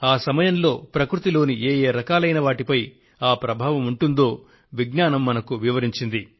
ఆ సమయంలో ప్రకృతి లోని ఏయే రకాలైన వాటిపై ఆ ప్రభావం ఉంటుందో విజ్ఞానం మనకు వివరించింది